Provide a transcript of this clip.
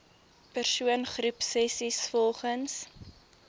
persoon groepsessies volgens